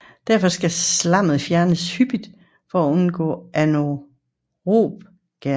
Derfor skal slammet fjernes hyppigt for undgå anaerob gæring